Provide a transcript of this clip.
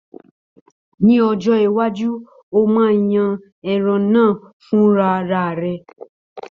Ní ọjọ́ iwájú, ó máa yan ẹran náà fúnra ara rẹ̀.